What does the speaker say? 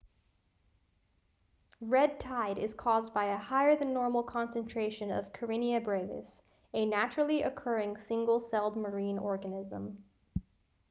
red tide is caused by a higher than normal concentration of karenia brevis a naturally-occurring single-celled marine organism